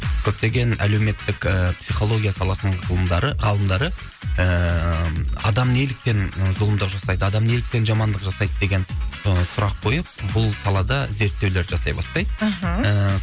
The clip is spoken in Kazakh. көптеген әлеуметтік ы психология саласының ғылымдары ғалымдары ыыы адам неліктен зұлымдық жасайды адам неліктен жамандық жасайды деген ы сұрақ қойып бұл салада зерттеулер жасай бастайды аха ыыы